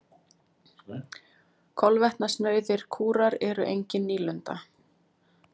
Kolvetnasnauðir kúrar eru engin nýlunda.